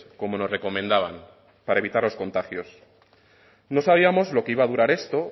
como nos recomendaban para evitar los contagios no sabíamos lo que iba a durar esto